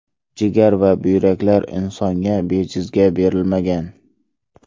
Jigar va buyraklar insonga bejizga berilmagan.